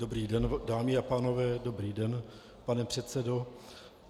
Dobrý den, dámy a pánové, dobrý den, pane předsedo.